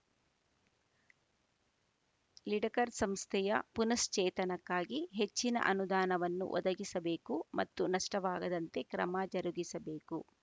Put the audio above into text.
ಲಿಡಕರ್‌ ಸಂಸ್ಥೆಯ ಪುನಃಶ್ಚೇತನಕ್ಕಾಗಿ ಹೆಚ್ಚಿನ ಅನುದಾನವನ್ನು ಒದಗಿಸಬೇಕು ಮತ್ತು ನಷ್ಟವಾಗದಂತೆ ಕ್ರಮ ಜರುಗಿಸಬೇಕು